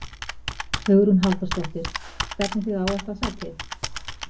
Hugrún Halldórsdóttir: Stefnið þið á eitthvað sæti?